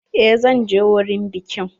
Eh zan je wurin bikin.